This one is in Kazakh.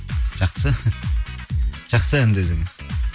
жақсы жақсы ән десең